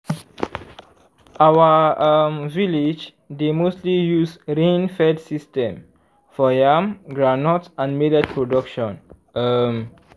our um village dey mostly use rain fed system for yam groundnut and millet production um